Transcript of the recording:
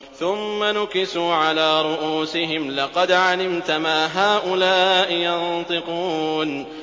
ثُمَّ نُكِسُوا عَلَىٰ رُءُوسِهِمْ لَقَدْ عَلِمْتَ مَا هَٰؤُلَاءِ يَنطِقُونَ